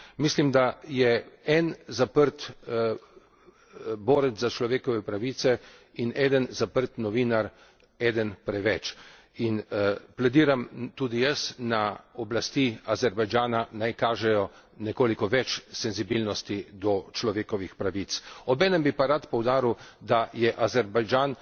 Mislim, da je en zaprt borec za človekove pravice in en zaprt novinar, eden preveč. In tudi jaz plediram na oblasti Azerbajdžana, naj kažejo nekoliko več senzibilnosti do človekovih pravic, obenem pa bi rad poudaril, da je Azerbajdžan